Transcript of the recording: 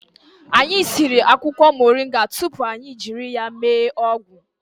Anyị siri akwụkwọ moringa tupu anyị jiri ya mee ọgwụ